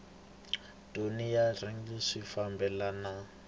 thoni na rhejisitara swi fambelana